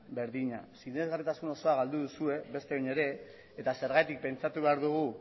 berdina sinesgarritasun osoa galdu duzue beste behin ere eta zergatik pentsatu behar dugu